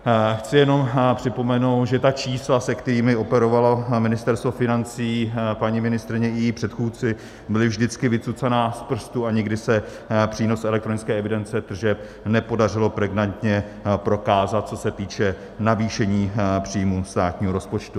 Chci jenom připomenout, že ta čísla, se kterými operovalo Ministerstvo financí, paní ministryně i její předchůdci, byla vždycky vycucaná z prstu a nikdy se přínos elektronické evidence tržeb nepodařilo pregnantně prokázat, co se týče navýšení příjmů státního rozpočtu.